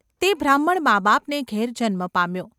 તે બ્રાહ્મણ માબાપને ઘેર જન્મ પામ્યો.